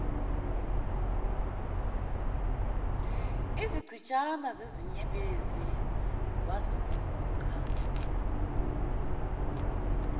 izichitshana zezinyembezi wazibuka